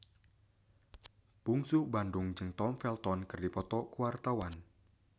Bungsu Bandung jeung Tom Felton keur dipoto ku wartawan